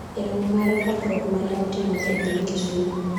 e romo mar lokruok mane otimore e piny Kisumo